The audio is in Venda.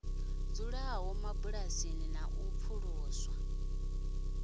dzulaho mabulasini na u pfuluswa